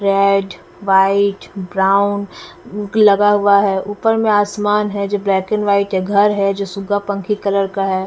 Red white brown लगा हुआ है ऊपर में आसमान है जो ब्लैक एंड व्हाइट है घर है जो सुगपंखी कलर का है।